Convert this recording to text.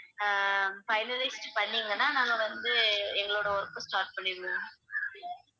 அஹ் finalize பண்ணீங்கனா நாங்க வந்து எங்களோட work அ start பண்ணிடுவோம்